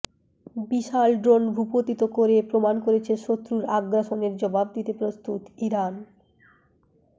বিশাল drone ভূপাতিত করে প্রমাণ করেছে শত্রুর আগ্রাসনের জবাব দিতে প্রস্তুত ইরান